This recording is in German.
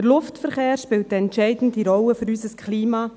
Der Luftverkehr spielt für unser Klima eine entscheidende Rolle.